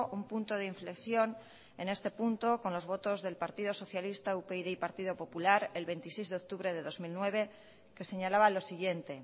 un punto de inflexión en este punto con los votos del partido socialista upyd y partido popular el veintiséis de octubre de dos mil nueve que señalaba lo siguiente